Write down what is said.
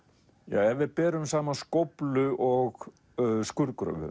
ef við berum saman skóflu og